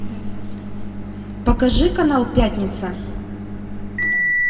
покажи канал пятница